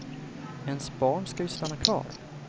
Ens barn ska ju stanna kvar.